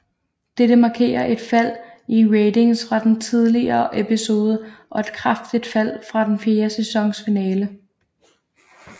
Dette markerer et fald i ratings fra den tidligere episode og et kraftigt fald fra den fjerde sæsons finale